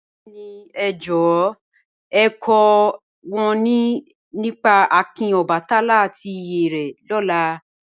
Bẹẹ̀ni, è jọ̀wọ̀ è kò wọn nípá àkìn Ọbàtálá àti ìyè re lóla